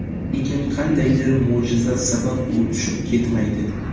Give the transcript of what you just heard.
Lekin qandaydir mo‘jiza sabab u tushib ketmaydi.